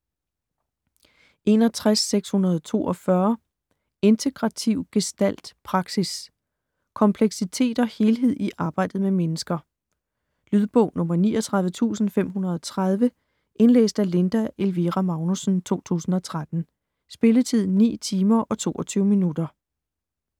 61.642 Integrativ gestalt praksis: kompleksitet og helhed i arbejdet med mennesker Lydbog 39530 Indlæst af Linda Elvira Magnussen, 2013. Spilletid: 9 timer, 22 minutter.